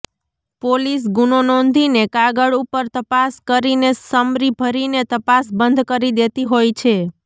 police ગુનો નોંધીને કાગળ ઉપર તપાસ કરીને સમરી ભરીને તપાસ બંધ કરી દેતી હોય છે